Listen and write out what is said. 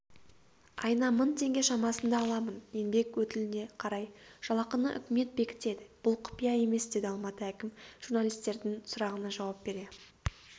айына мың теңге шамасында аламын еңбек өтіліне қарай жалақыны үкімет бекітеді бұл құпия емес деді алматы әкімі журналистердің сұрағына жауап бере